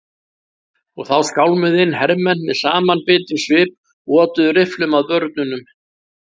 Og þá skálmuðu inn hermenn með samanbitinn svip og otuðu rifflum að börnunum.